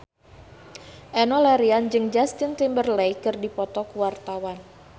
Enno Lerian jeung Justin Timberlake keur dipoto ku wartawan